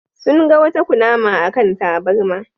Sun ga wata kunama a kan tabarma.